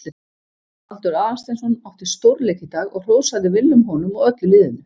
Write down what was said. Baldur Aðalsteinsson átti stórleik í dag og hrósaði Willum honum og öllu liðinu.